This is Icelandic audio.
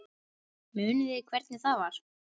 Munið þið hvernig það var?